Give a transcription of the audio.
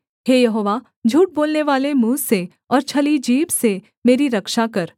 हे यहोवा झूठ बोलनेवाले मुँह से और छली जीभ से मेरी रक्षा कर